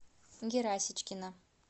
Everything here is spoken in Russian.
герасичкина